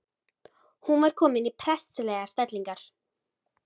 Hún var komin í prestslegar stellingar.